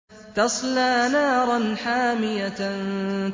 تَصْلَىٰ نَارًا حَامِيَةً